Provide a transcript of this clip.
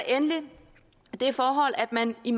endelig det forhold at man i